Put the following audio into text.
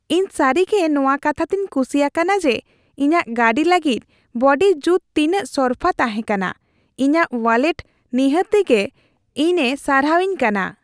ᱤᱧ ᱥᱟᱹᱨᱤᱜᱮ ᱱᱚᱣᱟ ᱠᱟᱛᱷᱟ ᱛᱮᱧ ᱠᱩᱥᱤ ᱟᱠᱟᱱ ᱡᱮ ᱤᱧᱟᱹᱜ ᱜᱟᱹᱰᱤ ᱞᱟᱹᱜᱤᱫ ᱵᱚᱰᱤ ᱡᱩᱛ ᱛᱤᱱᱟᱹᱜ ᱥᱚᱨᱯᱷᱟ ᱛᱟᱦᱮᱸᱠᱟᱱᱟ; ᱤᱧᱟᱹᱜ ᱳᱣᱟᱞᱮᱴ ᱱᱤᱦᱟᱹᱛᱤ ᱜᱮ ᱤᱧᱮ ᱥᱟᱨᱦᱟᱣ ᱤᱣ ᱠᱟᱱᱟ ᱾